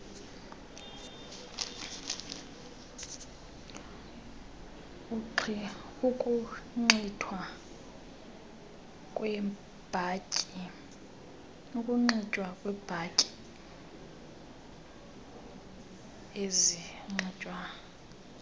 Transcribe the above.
ukunxitywa kweebhatyi ezinxitywa